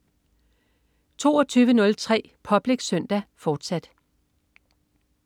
22.03 Public Søndag, fortsat